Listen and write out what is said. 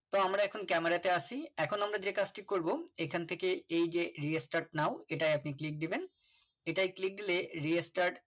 তো আমরা এখন Camera টা আছি এখন আমরা যে কাজটি করব যেখান থেকে এই যে Restart now এটাই আপনি click দিবেন এটাই click দিলে click